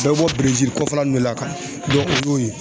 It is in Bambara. Bɛɛ bɔ Berezili kɔfɛla ninnu de la o y'o ye